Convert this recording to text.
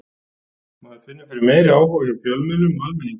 Maður finnur fyrir meiri áhuga hjá fjölmiðlum og almenningi.